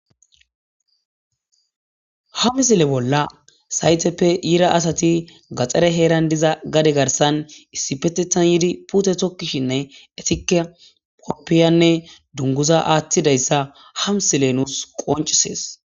ha misile bolla sayteppe yira asati gaare heeran diza gade garsan issipetetan yiidi puute tokkishinne etike poppiyanne dunguza aaththidayssa hamsile nuus qoncisees